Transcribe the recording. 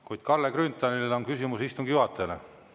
Kuid Kalle Grünthalil on küsimus istungi juhatajale.